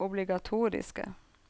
obligatoriske